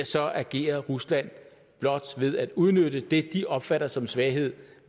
så agerer rusland blot ved at udnytte det de opfatter som svaghed